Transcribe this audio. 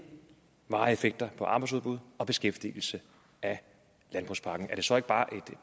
varige effekter på arbejdsudbud og beskæftigelse af landbrugspakken er det så ikke bare et